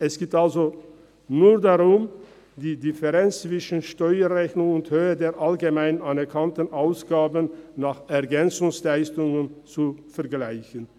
Es geht also nur darum, die Differenz zwischen der Steuerrechnung und der Höhe der allgemein anerkannten Ausgaben nach EL zu vergleichen.